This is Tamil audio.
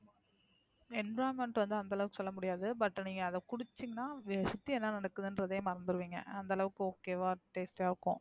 Envioranment வந்து அந்தளவுக்கு சொல்ல முடியாது. But நீங்க அத குடிசிங்கின்னா சுத்தி என்ன நடக்குதுன்னே மறந்துடுவீங்க. அந்தளவுக்கு Okay வா Taste ஆ இருக்கும்.